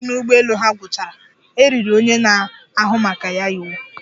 Ha sị na mmanụ ụgbọelu ha gwụchara, e riri onye na-ahụ maka ya iwu